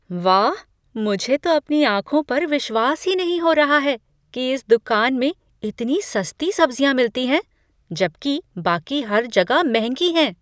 वाह, मुझे तो अपनी आंखों पर विश्वास ही नहीं हो रहा है कि इस दुकान में इतनी सस्ती सब्जियां मिलती हैं, जबकि बाकी हर जगह महंगी हैं!